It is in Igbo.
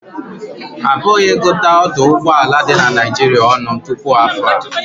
A pụghị ịgụta ọdụ ụgbọ ala ndị dị na Naịjirịa ọnụ tupu afọ a